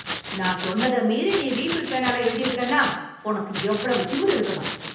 நான் சொன்னத மீறி நீ ரீஃபில் பேனால எழுதியிருக்கன்னா உனக்கு எவ்வளவு திமிரு இருக்கணும்!